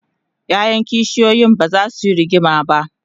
ƴaƴan kishiyoyin bazasu Yi rigima ba